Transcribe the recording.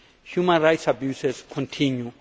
Human rights abuses continue.